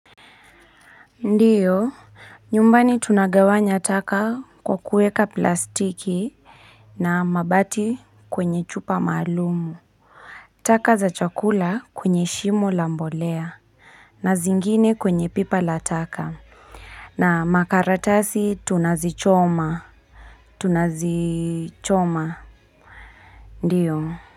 Ndiyo nyumbani tunagawanya taka kwa kuweka plastic na mabati kwenye chupa maalumu taka za chakula kwenye shimo lambolea na zingine kwenye pipa lataka na makaratasi tunazichoma tunazichoma ndiyo.